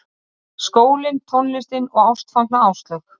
Skólinn, tónlistin og ástfangna Áslaug.